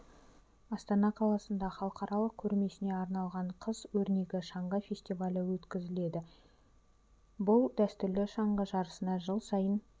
астана қаласында халықаралық көрмесіне арналған қыс өрнегі шаңғы фестивалі өткізіледі бұл дәстүрлі шаңғы жарысына жыл сайын